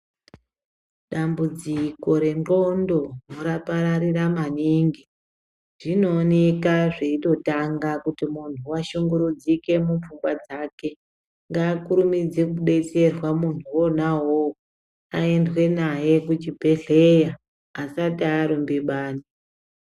Dambudziko rendxondo rapararira maningi, zvinooneka zveitotanga kuti muntu washunguridzika mupfungwa dzake. Ngaakurumidze kubetserwa muntu wona uwowo. Aendwe naye kuchibhedhleya asati arumba bani.